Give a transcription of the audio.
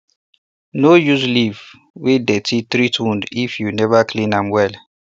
no use leaf wey dirty treat wound if you never clean am well